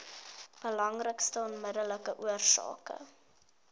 belangrikste onmiddellike oorsake